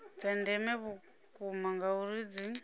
dza ndeme vhukuma ngauri dzi